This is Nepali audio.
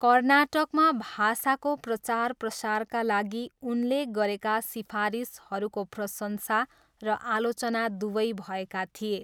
कर्नाटकमा भाषाको प्रचारप्रसारका लागि उनले गरेका सिफारिसहरूको प्रशंसा र आलोचना दुवै भएका थिए।